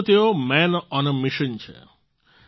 આમ તો તેઓ માન ઓન એ મિશન છે